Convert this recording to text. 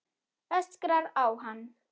Öskrar á hann.